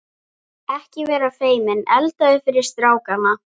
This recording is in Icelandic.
Ekki vera feiminn, eldaðu fyrir strákana.